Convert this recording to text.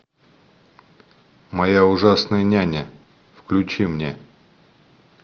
моя ужасная няня включи мне